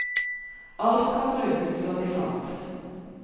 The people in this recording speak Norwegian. Alt kan brukes, slår de fast.